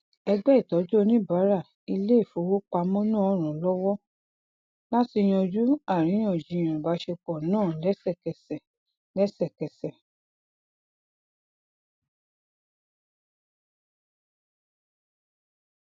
ẹgbẹ ìtọjú oníbàárà iléifowopamọ náà ran lọwọ láti yanju àríyànjiyàn ìbáṣepọ náà lẹsẹkẹsẹ lẹsẹkẹsẹ